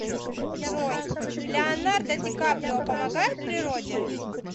джой леонардо ди каприо помогает природе